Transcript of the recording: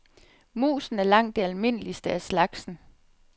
Musen er langt det almindeligste af slagsen.